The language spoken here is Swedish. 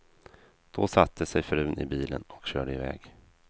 Då satte sig frun i bilen och körde i väg.